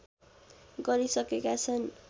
गरिसकेका छन्